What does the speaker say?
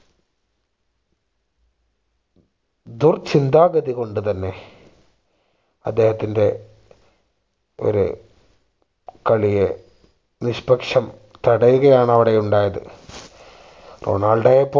ദുർചിന്താഗതി കൊണ്ട് തന്നെ അദ്ദേഹത്തിന്റെ ഒരു കളിയെ നിഷ്പക്ഷം തടയുകയാണ് അവിടെ ഉണ്ടായത് റൊണാൾഡോയെ